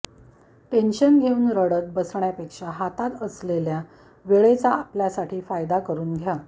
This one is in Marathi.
टेन्शन घेऊन रडत बसण्यापेक्षा हातात असलेल्या वेळेचा आपल्यासाठी फायदा करून घ्या